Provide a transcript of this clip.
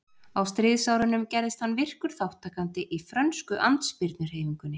Á stríðsárunum gerðist hann virkur þátttakandi í frönsku andspyrnuhreyfingunni.